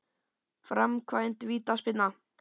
Framkvæmd vítaspyrna?